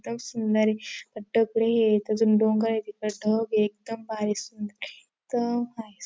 इतकं सुंदरए हे अजून डोंगर आहे तिथं ढग एकदम भारी सुंदर एकदम भारी.